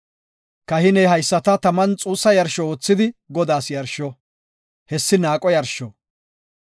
Kahiney haysata taman xuussa yarsho oothidi Godaas yarsho; hessi naaqo yarsho.